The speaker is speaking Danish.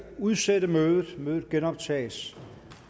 udsætte mødet mødet genoptages